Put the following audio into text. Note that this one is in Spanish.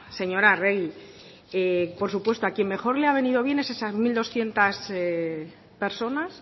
señora arregi por supuesto a quien mejor le ha venido bien es a esas mil doscientos personas